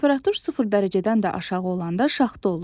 Temperatur sıfır dərəcədən də aşağı olanda şaxta olur.